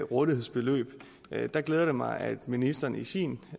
rådighedsbeløb der glæder det mig at ministeren i sin